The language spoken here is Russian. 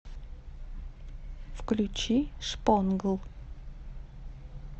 включи шпонгл